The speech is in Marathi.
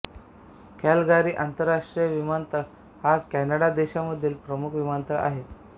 कॅलगारी आंतरराष्ट्रीय विमानतळ हा कॅनडा देशामधील प्रमुख विमानतळ आहे